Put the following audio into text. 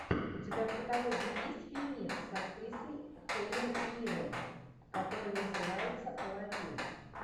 у тебя в каталоге есть фильмец с актрисой хелен миррен который называется аладдин